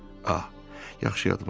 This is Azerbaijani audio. Ax, yaxşı yadıma düşdü.